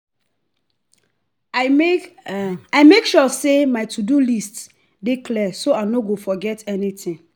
i make i make sure say my to-do list dey clear so i no go forget anything.